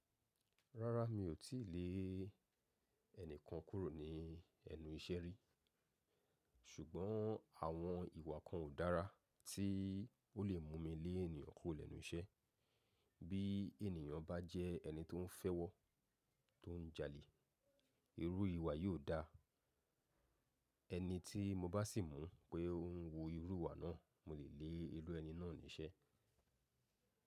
Rárá, mi ò tí lè ẹni kan kúrò ní ẹnu iṣẹ́ rí. Ṣùgbọ́n àwọn ìwà kan ò dára tí ó lè mú mi lé ènìyàn kúrò lẹ́nu iṣẹ́. Bí ènìyàn bá jẹ́ ẹni tó ń fẹ́ wọ́, tó ń jalè, irú ìwà yiò dáa. Ẹni tí mo bá sì mọ̀ pé ó ń wo irú ìwà náà, mo lè lé irú ẹni náà ní iṣẹ́.